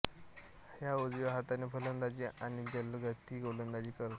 हा उजव्या हाताने फलंदाजी आणि जलदगती गोलंदाजी करतो